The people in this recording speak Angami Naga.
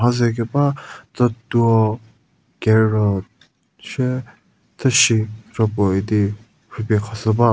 mhaze keba tsütuo carrot sie pfhüsi kropo idi rhupie khashü ba.